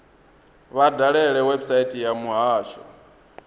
vha dalele website ya muhasho